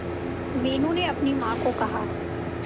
मीनू ने अपनी मां को कहा